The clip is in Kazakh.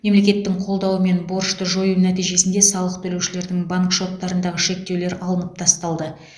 мемлекеттің қолдаумен борышты жою нәтижесінде салық төлеушілердің банк шоттарындағы шектеулер алынып тасталды